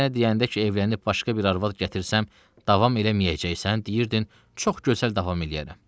Mən sənə deyəndə ki evlənib başqa bir arvad gətirsəm, davam eləməyəcəksən, deyirdin "çox gözəl davam elərəm."